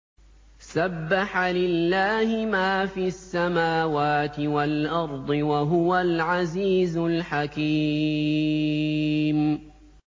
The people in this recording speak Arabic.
سَبَّحَ لِلَّهِ مَا فِي السَّمَاوَاتِ وَالْأَرْضِ ۖ وَهُوَ الْعَزِيزُ الْحَكِيمُ